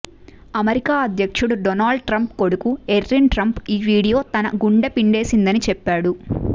America అధ్యక్షుడు Donald Trump కొడుకు Eric Trump ఈ వీడియో తన గుండె పిండేసిందని చెప్పాడు